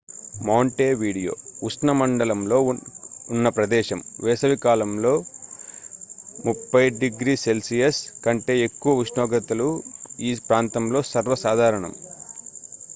montevideo ఉపఉష్ణమండలంలో ఉన్న ప్రదేశం; వేసవి కాలంలో +30°c కంటే ఎక్కువ ఉష్ణోగ్రతలు ఈ ప్రాంతంలో సర్వసాధారణం